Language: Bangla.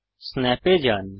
স্ন্যাপ এ যান